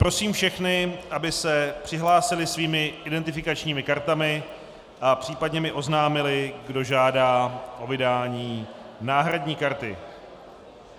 Prosím všechny, aby se přihlásili svými identifikačními kartami a případně mi oznámili, kdo žádá o vydání náhradní karty.